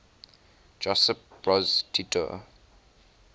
josip broz tito